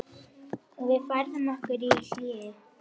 Við færðum okkur í hléi.